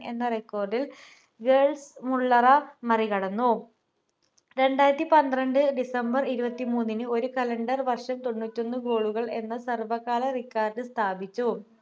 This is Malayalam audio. എന്ന record ൽ ഗെർഡ് മുള്ളറ മറികടന്നു രണ്ടായിരത്തി പന്ത്രണ്ട് december ഇരുപത്തിന് ഒരു calender വർഷം തൊണ്ണൂറ്റിഒന്ന് goal കൾ എന്ന സർവ്വ കാല record കൾ സ്ഥാപിച്ചു